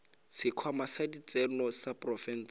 sekhwama sa ditseno sa profense